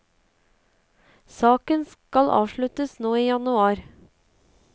Saken skal avsluttes nå i januar.